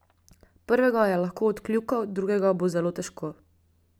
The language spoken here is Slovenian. Prvega je lahko odkljukal, drugega bo zelo težko.